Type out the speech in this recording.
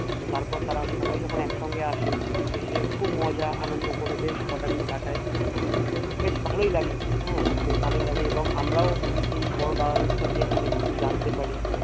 তো তারপর তারা সবাই যখন একসঙ্গে আসে এসে খুব মজা আনন্দ করে বেশ কাটায় বেশ ভালই লাগে হে বেশ ভালই লাগে এবং আমরাও সেই বড় দাদা দিদি থেকে অনেককিছু জানতে পারি এবং